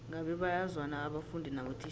ngabe bayazwana abafundi nabotitjhere